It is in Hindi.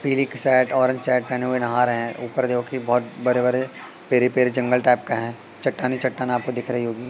पीली शर्ट ऑरेंज शर्ट पेहने हुए नहा रहे हैं ऊपर देखोगे कि बोहोत बड़े बड़े जंगल टाइप का है चट्टान ही चट्टान आपको दिख रही होगी।